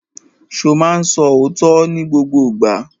Ṣo ma ń sọ òótọ́ ní gbogbo ìgbà?